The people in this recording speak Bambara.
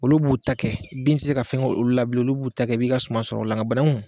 Olu b'u ta kɛ bin tɛ se ka fɛn kɛ olu la bilen, olu b'u ta kɛ i b'i ka suman sɔrɔ ola nka bananku.